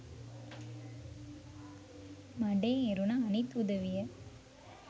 මඩේ එරුණ අනිත් උදවිය